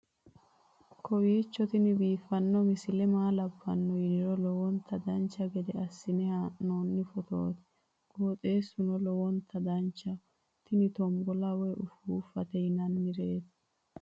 kowiicho tini biiffanno misile maa labbanno yiniro lowonta dancha gede assine haa'noonni foototi qoxeessuno lowonta danachaho. tini tombolla woy ufuuffate yinannireeti